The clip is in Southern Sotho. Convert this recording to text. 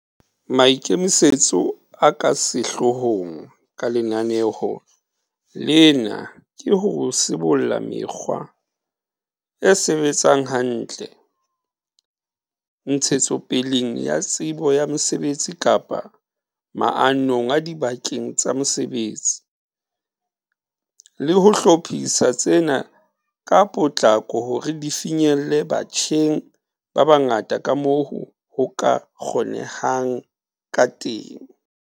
Maikemisetso a ka sehloohong ka lenaneo lena ke ho sibolla mekgwa e sebetsang hantle, ntshetsopeleng ya tsebo ya mosebetsi kapa maanong a dibakeng tsa mosebetsi, le ho hlophisa tsena ka potlako hore di finyelle batjheng ba bangata kamoo ho ka kgonehang kateng.